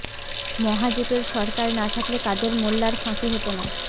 মহাজোটের সরকার না থাকলে কাদের মোল্লার ফাঁসি হতো না